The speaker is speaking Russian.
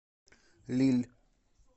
лилль